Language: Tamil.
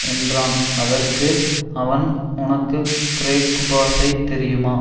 என்றான் அதற்கு அவன் உனக்கு கிரேக்குபாஷை தெரியுமா